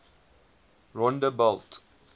rondebult